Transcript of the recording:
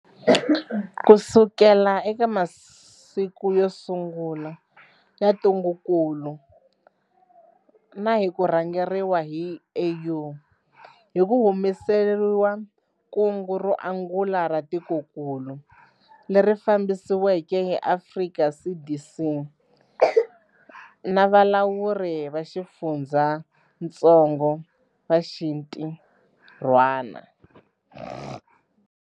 Kusukela eka masiku yo sungula ya ntungukulu na hi ku rhangeriwa hi AU, hi ku humelerisile kungu ro angula ra tikokulu, leri fambisiweke hi Afrika CDC na valawuri va xifundzatsongo va xintirhwana.